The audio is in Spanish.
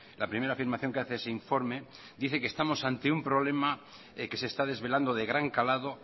la primera afirmación que hace ese informe dice que estamos ante un problema que se está desvelando de gran calado